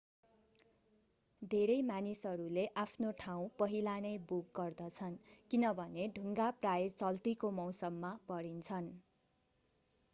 धेरै मानिसहरूले आफ्नो ठाँउ पहिला नै बुक गर्दछन् किनभने डुङ्गा प्रायः चल्तिको मौसममा भरिन्छन्।